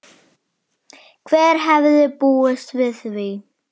Hver hefði búist við því?